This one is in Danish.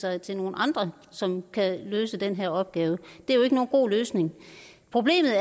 sig til nogle andre som kan løse den her opgave det er jo ikke nogen god løsning problemet